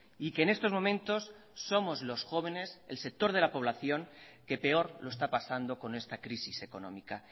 y que en estos momentos somos los jóvenes el sector de la población que peor lo está pasando con esta crisis económica